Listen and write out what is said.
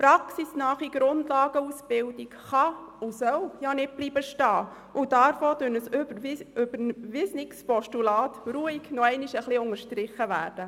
Eine praxisnahe Grundlagenausbildung soll nicht stehenbleiben und darf auch durch ein überwiesenes Postulat ruhig nochmals unterstrichen werden.